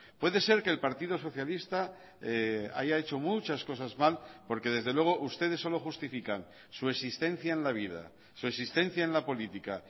puede ser que el partido socialista haya hecho muchas cosas mal porque desde luego ustedes solo justifican su existencia en la vida su existencia en la política